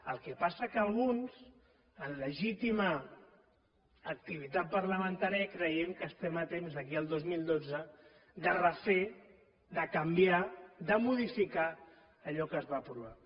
el que passa que alguns en legítima activitat parlamentària creiem que estem a temps d’aquí al dos mil dotze de refer de canviar de modificar allò que es va aprovar